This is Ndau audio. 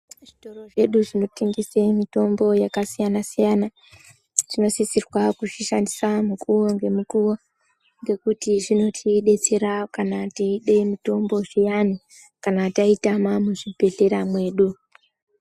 Zvitoro zvedu zvinotengese mitombo yakasiyana siyana tinosisirwa kuzvishandisa mukuwongemukuwo ngekuti zvinotidetsera kana teide mitombo zviyani kana taitama muzvibhehlera mwedu.